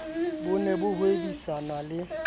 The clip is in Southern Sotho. bo ne bo hwebisana le